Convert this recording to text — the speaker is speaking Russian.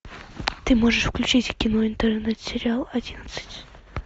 ты можешь включить кино интернет сериал одиннадцать